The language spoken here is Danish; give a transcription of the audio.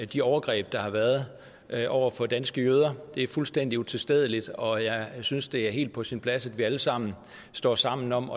de overgreb der har været over for danske jøder det er fuldstændig utilstedeligt og jeg synes det er helt på sin plads at vi alle sammen står sammen om